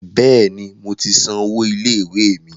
Bẹ́ẹ̀ni, mo ti san owó ilé ìwé mi.